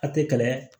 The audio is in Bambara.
A tɛ kɛlɛya